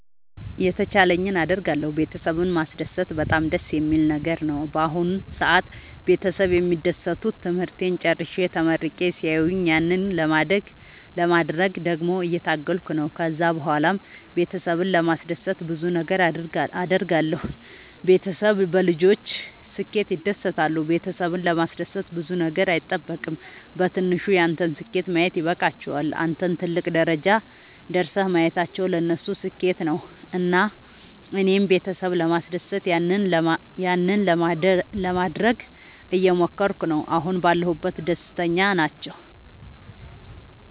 የተቻለኝን አደርጋለሁ ቤተሰብን ማስደሰት በጣም ደስ የሚል ነገር ነው። በአሁን ሰአት ቤተሰብ የሚደሰቱት ትምህርቴን ጨርሼ ተመርቄ ሲያዩኝ ያንን ለማድረግ ደግሞ እየታገልኩ ነው። ከዛ ብኋላም ቤተሰብን ለማስደሰት ብዙ ነገር አድርጋለሁ። ቤተሰብ በልጆች ስኬት ይደሰታሉ ቤተሰብን ለማስደሰት ብዙ ነገር አይጠበቅም በትንሹ ያንተን ስኬት ማየት ይበቃቸዋል። አንተን ትልቅ ደረጃ ደርሰህ ማየታቸው ለነሱ ስኬት ነው። እና እኔም ቤተሰብ ለማስደሰት ያንን ለማደረግ እየሞከርኩ ነው አሁን ባለሁበት ደስተኛ ናቸው።